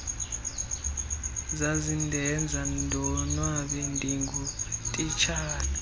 zazindenza ndonwabe ndingutitshala